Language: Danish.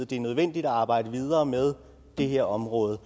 det er nødvendigt at arbejde videre med det her område